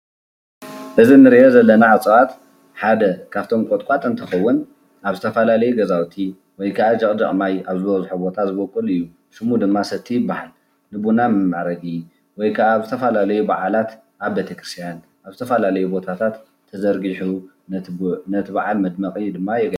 እዚ እንሪኦ ዘለና እፅዋት ሓደ ካብቶም ቆጥቋጥ እንትከውን ኣብ ዝተፈላለዩ ገዛውቲ ወይ ከኣ ጀቅጀቅ ማይ ብዝሕ ቦታ ዝቦቁል እዩ። ሽሙ ድማ ሰቲ ይበሃል። ቡና መማዕረጊ ወይ ከኣ ኣብ ዝተፈላለዩ በዓላት ኣብ ቤተክርስትያን ኣብ ዝተፈላለዩ ቦታት ተዘርጊሑ ነቲ በዓል መድመቂ ድማ የገልግል።